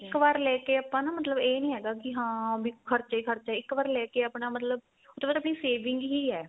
ਇੱਕ ਵਾਰ ਲੈਕੇ ਆਪਾਂ ਨਾ ਮਤਲਬ ਇਹ ਨੀ ਹੈਗਾ ਕੀ ਹਾਂ ਵੀ ਖ਼ਰਚਾ ਈ ਖ਼ਰਚਾ ਇੱਕ ਵਾਰ ਲੈ ਕੇ ਆਪਣਾ ਮਤਲਬ ਉਹ ਤੋਂ ਬਾਅਦ ਆਪਣੀ saving ਹੀ ਏ